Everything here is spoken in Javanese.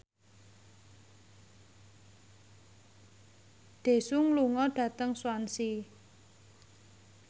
Daesung lunga dhateng Swansea